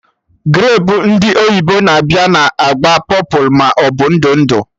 Grapu ndị oyibo na-abịa na agba pọpụlụ maọbụ ndụ ndụ